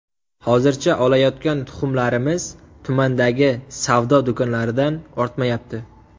Hozircha olayotgan tuxumlarimiz tumandagi savdo do‘konlaridan ortmayapti.